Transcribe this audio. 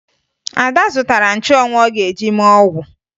Ada zụtara nchụanwụ ọ ga-eji mee ọgwụ